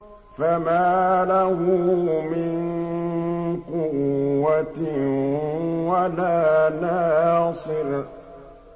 فَمَا لَهُ مِن قُوَّةٍ وَلَا نَاصِرٍ